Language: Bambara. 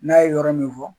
N'a ye yɔrɔ min fɔ